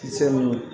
Kisɛ munnu